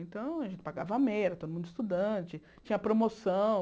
Então, a gente pagava a meia, todo mundo estudante, tinha promoção.